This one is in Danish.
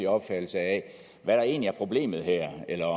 opfattelse af hvad der egentlig er problemet her eller